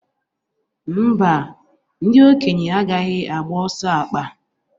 Mba, ndị okenye agaghị agba ọsọ akpa.